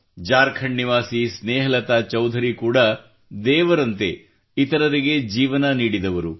ಜಾರ್ಖಂಡ್ ನಿವಾಸಿ ಸ್ನೇಹಲತಾ ಚೌಧರಿ ಕೂಡ ದೇವರಂತೆ ಇತರರಿಗೆ ಜೀವನ ನೀಡಿದವರು